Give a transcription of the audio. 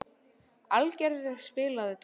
Hallgerður, spilaðu tónlist.